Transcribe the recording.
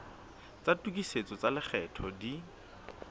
tsa tokisetso tsa lekgetho di